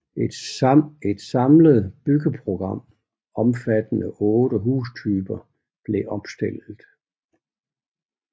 Et samlet byggeprogram omfattende 8 hustyper blev opstillet